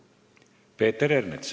Peeter Ernits.